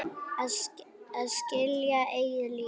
Að skilja eigið líf.